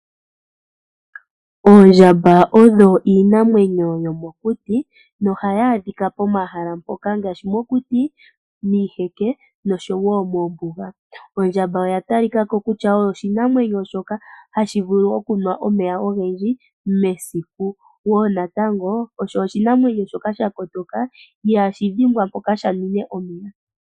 Oondjamba odho iinamwenyo yomokuti nohayi adhika pomahala mpoka ngaashi mokuti, miiheke noshowo moombuga. Ondjamba oya talikako kutya oyo oshinamwenyo shoka hashi vulu okunwa omeya ogendji mesiku sho osho oshinamwenyo shoka shakotoka ihaashi dhimbwa mpoka shaninwe omeya.